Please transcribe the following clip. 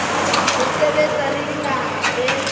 ho sebetsa le dinaha tse